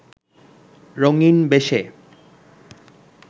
রঙিন্ বেশে